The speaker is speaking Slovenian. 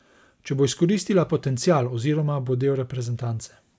Če bo izkoristila potencial oziroma bo del reprezentance.